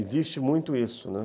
Existe muito isso, né?